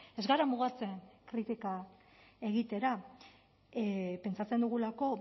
ez gara mugatzen kritika egitera pentsatzen dugulako